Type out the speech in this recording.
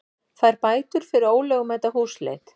Fær bætur fyrir ólögmæta húsleit